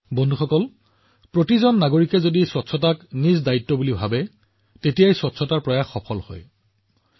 বন্ধুসকল পৰিষ্কাৰপৰিচ্ছন্নতাৰ প্ৰচেষ্টা সম্পূৰ্ণৰূপে সফল তেতিয়াহে হয় যদিহে প্ৰতিজন নাগৰিকে পৰিষ্কাৰপৰিচ্ছন্নতাক তেওঁৰ দায়িত্ব বুলি বিবেচনা কৰে